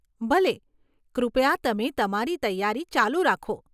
ભલે, કૃપયા તમે તમારી તૈયારી ચાલુ રાખો.